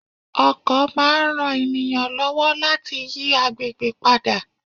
Ọkọ̀ máa ń ran ènìyàn lọ́wọ́ láti yí àgbègbè padà.